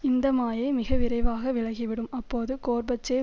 இந்த மாயை மிக விரைவாக விலகிவிடும் அப்போது கோர்பச்சேவ்